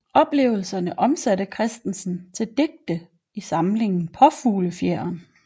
Oplevelserne omsatte Kristensen til digte i samlingen Paafuglefjeren